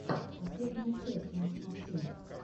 последняя часть макс максимов